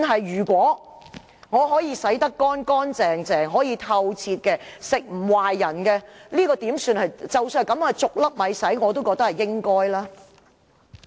如果我可以洗得乾乾淨淨，不會讓人吃壞肚，即使我是"逐粒米洗"，我也覺得是應該的。